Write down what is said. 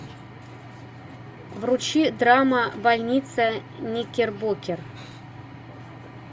вручи драма больница никербокер